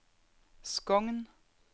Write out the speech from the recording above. Skogn